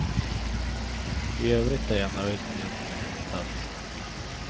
I övrigt är jag nöjd med min insats.